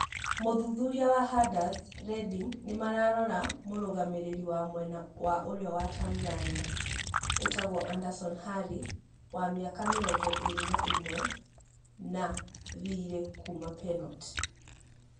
(Mũthuthuria wa Hudders) Redding nĩ mararora mũrũgamĩrĩri wa mwena wa ũrĩo wa Tanzania wĩtagwo Anderson Harry wa miaka mĩrongoirĩ na ĩmwe, na thiirĩ kuma Penot.